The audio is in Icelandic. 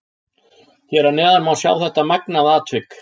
Hér að neðan má sjá þetta magnaða atvik.